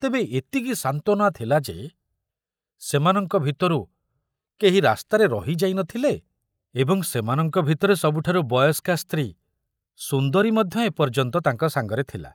ତେବେ ଏତିକି ସାନ୍ତନା ଥିଲା ଯେ ସେମାନଙ୍କ ଭିତରୁ କେହି ରାସ୍ତାରେ ରହିଯାଇ ନଥିଲେ ଏବଂ ସେମାନଙ୍କ ଭିତରେ ସବୁଠାରୁ ବୟସ୍କା ସ୍ତ୍ରୀ ସୁନ୍ଦରୀ ମଧ୍ୟ ଏ ପର୍ଯ୍ୟନ୍ତ ତାଙ୍କ ସାଙ୍ଗରେ ଥିଲା।